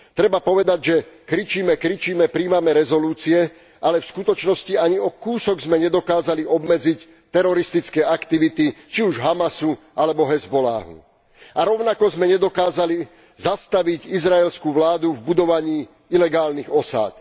Treba povedať, že kričíme, kričíme, prijímame rezolúcie, ale v skutočnosti ani o kúsok sme nedokázali obmedziť teroristické aktivity, či už Hamasu alebo Hizballáhu, a rovnako sme nedokázali zastaviť izraelskú vládu v budovaní ilegálnych osád.